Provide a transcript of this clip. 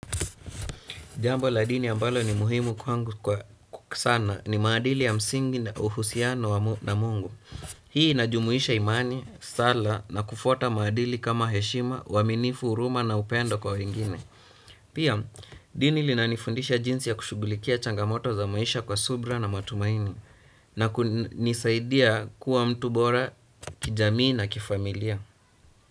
Jambo la dini ambalo ni muhimu kwa sana ni maadili ya msingi na uhusiano na Mungu. Hii inajumuisha imani, sala na kufuata maadili kama heshima, uaminifu, huruma na upendo kwa wengine. Pia, dini lina nifundisha jinsi ya kushughulikia changamoto za maisha kwa subra na matumaini na kunisaidia kuwa mtu bora kijamii na kifamilia.